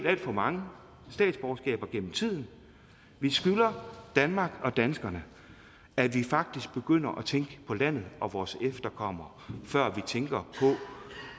alt for mange statsborgerskaber gennem tiden vi skylder danmark og danskerne at vi faktisk begynder at tænke på landet og vores efterkommere før vi tænker på